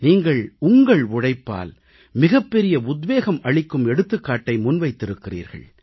நீங்கள் உங்கள் உழைப்பால் மிகப்பெரிய உத்வேகம் அளிக்கும் எடுத்துக்காட்டை முன்வைத்திருக்கிறீர்கள்